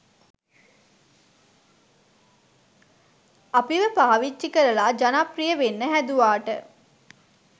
අපිව පාවිච්චි කරලා ජනප්‍රිය වෙන්න හැදුවාට